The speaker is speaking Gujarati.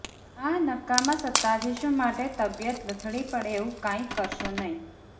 આ નકામા સત્તાધીશો માટે તબિયત લથડી પડે એવું કંઈ કરશો નહીં